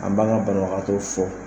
An b'an ka banabagatɔw fo